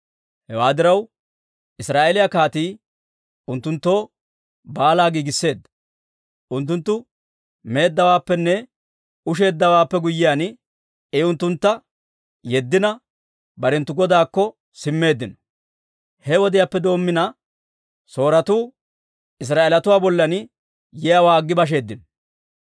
Hewaa diraw, Israa'eeliyaa kaatii unttunttoo baalaa giigisseedda. Unttunttu meeddawaappenne usheeddawaappenne guyyiyaan, I unttuntta yeddina, barenttu godaakko simmeeddino. He wodiyaappe doommina, Sooretuu Israa'eelatuu bollan yiyaawaa aggi basheeddino.